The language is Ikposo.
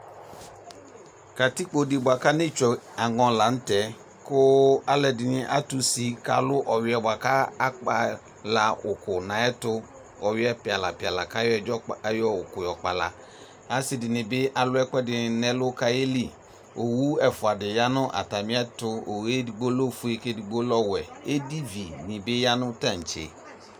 Anetsue aŋɔ nʋ katikpo yɛ kʋ alʋ ɛdɩnɩ atu ʋsɩ kʋ alʋ ɔwuɩɛ plɩlaplɩka yɛ kʋ ewu ɛdzɔ asɩdɩnɩ bɩ alʋ ɛkʋedɩ nʋ ɛlʋ kʋ ayeli owu ɛfʋadɩ ya nʋ atamɩɛtʋ edigbo lɛ ofue kʋ edigbo lɛ owɛ kʋ edivi dɩbɩ yanu atamɩɛtʋ